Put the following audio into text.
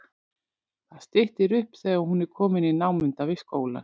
Það styttir upp þegar hún er komin í námunda við skólann.